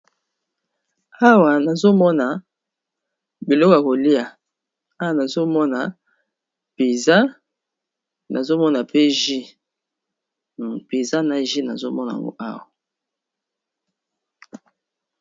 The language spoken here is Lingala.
Awa nazomona biloko ya kolia, Awa nazo Mona pizza nazo mona pe jus pizza na jus nazo mona yango awa.